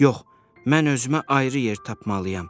Yox, mən özümə ayrı yer tapmalıyam,